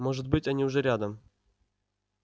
может быть они уже рядом